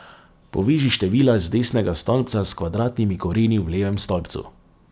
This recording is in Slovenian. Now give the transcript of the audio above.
Poveži števila iz desnega stolpca s kvadratnimi koreni v levem stolpcu.